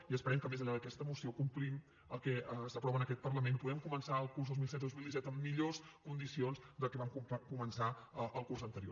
i esperem que més enllà d’aquesta moció complim el que s’aprova en aquest parlament i puguem començar el curs dos mil setze dos mil disset en millors condicions del que vam començar el curs anterior